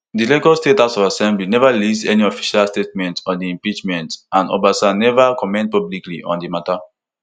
di lagos state house of assembly neva release any official statement on di impeachment and obasa neva comment publicly on di mata